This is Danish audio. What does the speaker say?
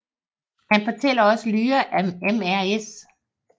Han fortæller også Lyra at Mrs